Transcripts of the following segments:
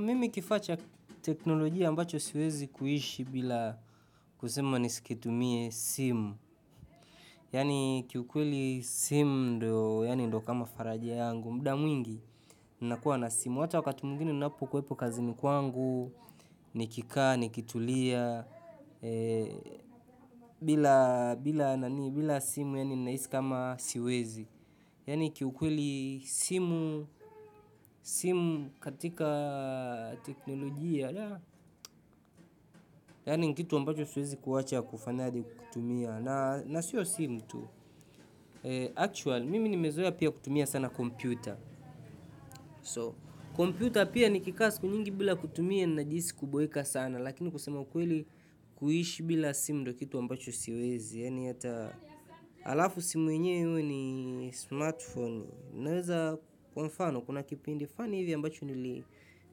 Mimi kifaa cha teknolojia ambacho siwezi kuishi bila kusema nisikitumie simu. Yaani kiukweli simu ndo kama faraja yangu. Muda mwingi nakuwa na simu. Hata wakati mwingine ninapokwepo kazini kwangu, nikikaa, nikitulia. Bila simu yaani ninahisi kama siwezi. Yaani kiukweli simu katika teknolojia yaani ni kitu ambacho siwezi kuacha kufanayaje kukitumia na siyo simu tu. Actually, mimi nimezoea pia kutumia sana kompyuta. So, kompyuta pia nikikaa siku nyingi bila kutumia najihisi kuboeka sana lakini kusema ukweli kuishi bila simu ndo kitu ambacho siwezi yaani hata alafu simu enyewe iwe ni smartphone naweza kwa mfano kuna kipindi fani hivyo ambacho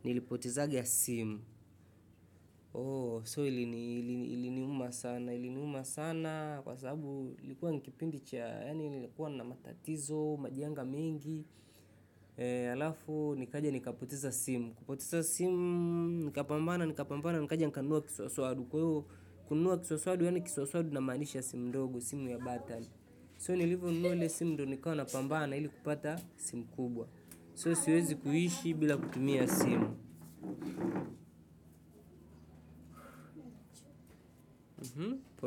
nilipotezanga simu. So iliniuma sana kwa sababu ilikuwa ni kipindi cha yaani nilikuwa na matatizo, majanga mengi halafu nikaja nikapoteza simu kupoteza simu nikapambana nikaja nikanunua kiswaswadu kununua kiwaswadu yaani kiswaswadu namanisha simu ndogo simu ya button so nilivyonunua ile simu ndo nikawa napambana ili kupata simu kubwa so so siwezi kuishi bila kutumia simu.